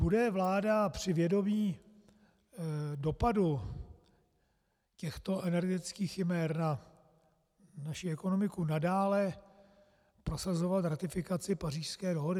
Bude vláda při vědomí dopadu těchto energetických chimér na naši ekonomiku nadále prosazovat ratifikaci Pařížské dohody?